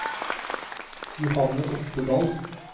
Johanne Oftedal